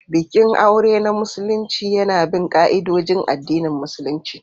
Bikin aure na Musulunci yana bin ka'idojin addinin Musulunci.